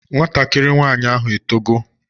Nwatakịrị nwaanyị ahụ etogo?